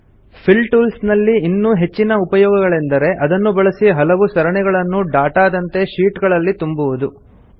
fill tools ನಲ್ಲಿ ಇನ್ನೂ ಹೆಚ್ಚಿನ ಉಪಯೋಗಗಳೆಂದರೆ ಅದನ್ನು ಬಳಸಿ ಹಲವು ಸರಣಿಗಳನ್ನು ಡಾಟಾ ದಂತೆ ಶೀಟ್ ಗಳಲ್ಲಿ ತುಂಬುವುದು